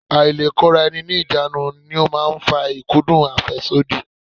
Ailekoraeni-ni-ijanu ni ó máa ń fa ikudun afesodi.